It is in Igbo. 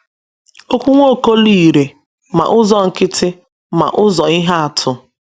Okwu Nwokolo irè ma n’ụzọ nkịtị ma n’ụzọ ihe atụ.